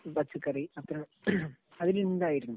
പച്ചക്കറി ഒക്കെ അതിലുണ്ടായിരുന്നു.